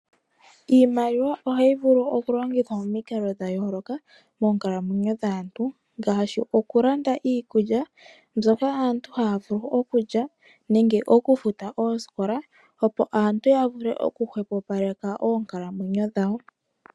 Iimaliwa ohayi vulu okulongithwa momiikalo dhayoloka moonkalamwenyo dhaantu , ngashi okulanda iikulya mbyoka aantu havulu okulya nenge okufuta osikola opo aantu yavule oku hwepopaleka onkalamwenyo dhawo.